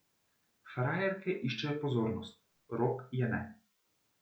Frajerke iščejo pozornost, Rok je ne.